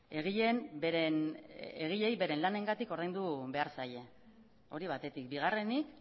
egileei beren lanengatik ordaindu behar zaie hori batetik bigarrenik